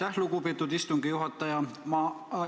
Aitäh, lugupeetud istungi juhataja!